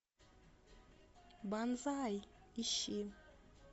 банзай ищи